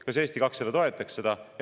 Kas Eesti 200 toetaks seda?